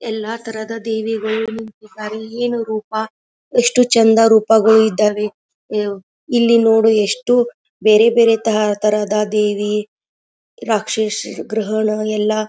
ಎಲ್ಲ ಥರದ ದೇವಿಗಳು ನಿಂತಿದ್ದಾರೆ ಏನು ರೂಪ ಎಷ್ಟು ಚಂದ ರೂಪಗಳು ಇದ್ದಾವೆ ಆಂ ಇಲ್ಲಿ ನೋಡು ಎಷ್ಟು ಬೇರೆ ಬೇರೆ ಥ ಥರದ ದೇವಿ ರಾಕ್ಷಸ ಗ್ರಹಣ ಎಲ್ಲ .